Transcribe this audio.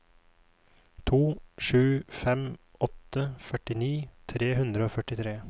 to sju fem åtte førtini tre hundre og førtitre